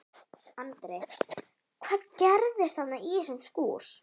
Andri: Hvað gerðist þarna í þessum skúr?